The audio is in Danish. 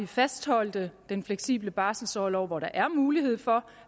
fastholdt den fleksible barselorlov hvor der er mulighed for